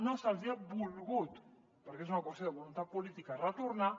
no se’ls hi ha volgut perquè és una qüestió de voluntat política retornar